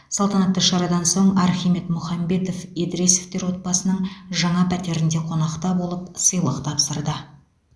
салтанатты шарадан соң архимед мұхамбетов едіресовтер отбасының жаңа пәтерінде қонақта болып сыйлық тапсырды